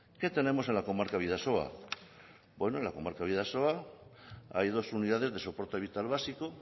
qué tenemos en la comarca bidasoa en la comarca bidasoa hay dos unidades de soporte vital básico